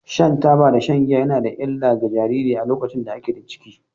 Shan taba da shan giya ya na da illa ga jariri a lokacin da a ke da ciki.